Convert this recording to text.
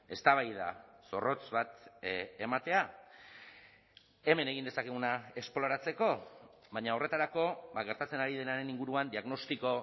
eztabaida zorrotz bat ematea hemen egin dezakeguna esploratzeko baina horretarako gertatzen ari denaren inguruan diagnostiko